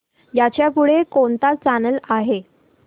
ह्याच्या पुढे कोणता चॅनल आहे